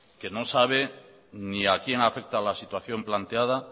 que no sabe ni a quién afecta la situación planteada